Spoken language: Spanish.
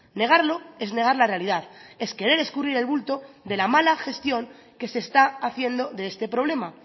negarlo es negar la realidad es querer escurrir el bulto de la mala gestión que se está haciendo de este problema